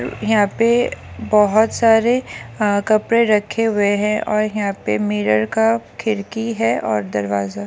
यहाँ पे बहुत सारे अ कपड़े रखे हुए हैं और यहाँ पे मिरर का खिड़की है और दरवाजा --